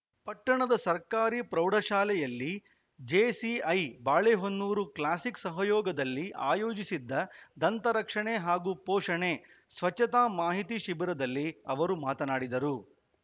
ಪಟ್ಟಣದ ಸರ್ಕಾರಿ ಪ್ರೌಢಶಾಲೆಯಲ್ಲಿ ಜೇಸಿಐ ಬಾಳೆಹೊನ್ನೂರು ಕ್ಲಾಸಿಕ್‌ ಸಹಯೋಗದಲ್ಲಿ ಆಯೋಜಿಸಿದ್ದ ದಂತ ರಕ್ಷಣೆ ಹಾಗೂ ಪೋಷಣೆ ಸ್ವಚ್ಚತಾ ಮಾಹಿತಿ ಶಿಬಿರದಲ್ಲಿ ಅವರು ಮಾತನಾಡಿದರು